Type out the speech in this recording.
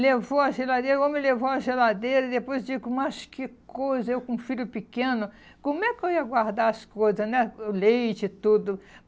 Levou a geladeira, o homem levou a geladeira e depois eu digo, mas que coisa, eu com um filho pequeno, como é que eu ia guardar as coisas né, o leite e tudo?